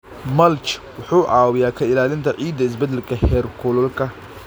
Mulch wuxuu caawiyaa ka ilaalinta ciidda isbeddelka heerkulka.